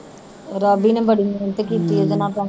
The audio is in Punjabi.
ਰਾਵੀ ਨੇ ਬੜੀ ਮਿਹਨਤ ਕੀਤੀ ਹੈ